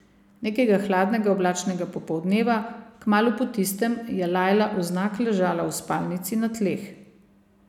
Nekega hladnega oblačnega popoldneva kmalu po tistem je Lajla vznak ležala v spalnici na tleh.